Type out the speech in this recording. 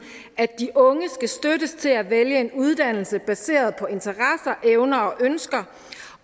at de unge skal støttes til at vælge en uddannelse baseret på interesser evner og ønsker